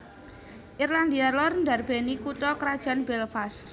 Irlandia Lor ndarbèni kutha krajan Belfast